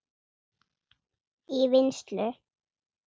í vinnslu